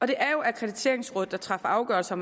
det er jo akkrediteringsrådet der træffer afgørelser